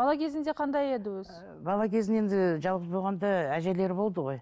бала кезінде қандай еді өзі бала кезінде енді жалғыз болғанда әжелері болды ғой